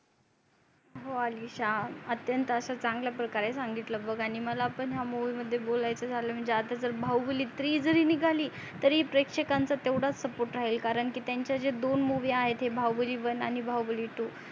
हो अलिशा अत्यंत अश्या चांगल्या प्रकारे संगितल बग मला ही हाय movie मध्ये बोलायच झाल म्हणजे आता जर बाहुबली three जरी निगाली तरी प्रेक्षकांचा तेवडाच support राहील कारण की त्यांच्या जे दोन movie आहेत बाहुबली one बाहुबली two